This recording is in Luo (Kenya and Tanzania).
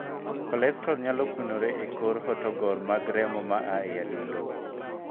Kolestrol nyalo kunore e kor hotogor mag remo ma aa e adundo.